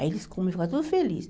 Aí eles comiam e ficavam todos felizes.